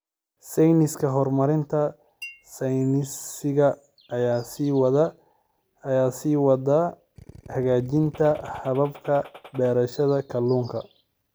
Sayniska Horumarinta Sayniska ayaa sii wada hagaajinta hababka beerashada kalluunka.